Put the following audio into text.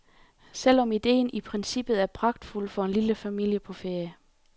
Selv om idéen i princippet er pragtfuld for en lille familie på ferie.